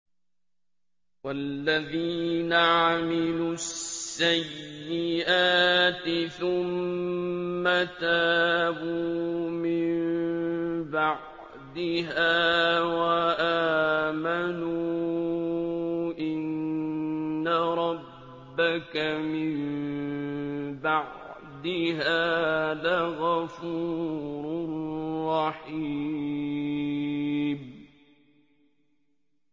وَالَّذِينَ عَمِلُوا السَّيِّئَاتِ ثُمَّ تَابُوا مِن بَعْدِهَا وَآمَنُوا إِنَّ رَبَّكَ مِن بَعْدِهَا لَغَفُورٌ رَّحِيمٌ